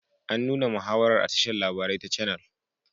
An nuna muhawarar a tashar labarai ta canal